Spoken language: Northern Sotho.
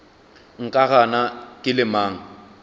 nka gana ke le mang